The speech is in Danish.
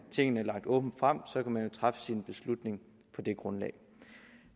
tingene lagt åbent frem så kan man træffe sin beslutning på det grundlag